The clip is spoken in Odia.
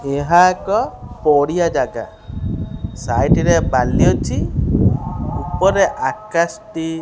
ଏହା ଏକ ପଡିଆ ଜାଗା ସାଇଟରେ ବାଲି ଅଛି ଉପରେ ଆକାଶଟି --